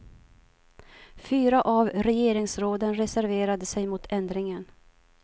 Fyra av regeringsråden reserverade sig mot ändringen.